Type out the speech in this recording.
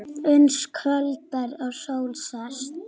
Uns kvöldar og sól sest.